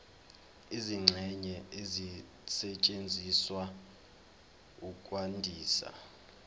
izingxenye ezisetshenziswa ukwandisa